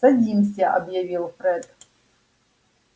садимся объявил фред